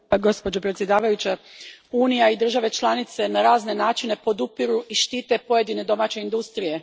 Gospođo predsjednice, Unija i države članice na razne načine podupiru i štite pojedine domaće industrije.